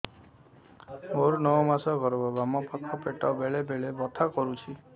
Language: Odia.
ମୋର ନଅ ମାସ ଗର୍ଭ ବାମ ପାଖ ପେଟ ବେଳେ ବେଳେ ବଥା କରୁଛି